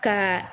Ka